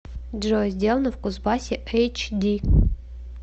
джой сделано в кузбассе эйч ди